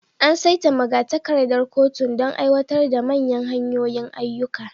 An saita magatakardar kotun don aiwatar da manyan hanyoyin ayyuka.